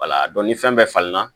wala dɔn ni fɛn bɛɛ falenna